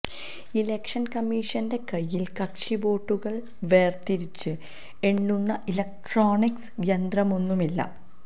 ഇലക്ഷന് കമ്മീഷന്റെ കയ്യില് കക്ഷിവോട്ടുകള് വേര്തിരിച്ച് എണ്ണുന്ന ഇലക്ട്രോണിക്സ് യന്ത്രമൊന്നുമില്ല